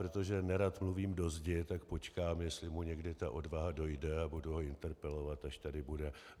Protože nerad mluvím do zdi, tak počkám, jestli mu někdy ta odvaha dojde, a budu ho interpelovat, až tady bude.